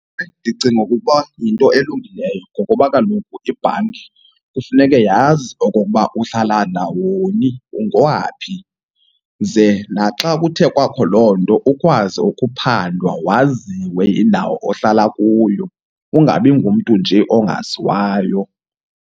Ndicinga ukuba yinto elungileyo ngokuba kaloku ibhanki kufuneke yazi okokuba uhlala ndawoni, ungowaphi. Ze naxa kuthe kwakho loo nto ukwazi ukuphandwa waziwe indawo ohlala kuyo, ungabi ngumntu nje ongaziwayo.